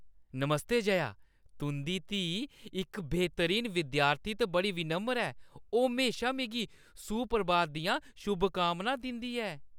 नमस्ते जया, तुंʼदी धीऽ इक बेह्‌तरीन विद्यार्थी ते बड़ी विनम्र ऐ। ओह् म्हेशा मिगी सुप्रभात दियां शुभकामनां दिंदी ऐ।